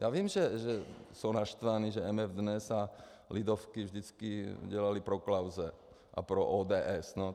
Já vím, že jsou naštvaní, že MF DNES a Lidovky vždycky dělaly pro Klause a pro ODS.